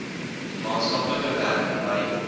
maatskaplike werker by